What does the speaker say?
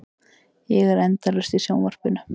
Ég er endalaust í sjónvarpinu.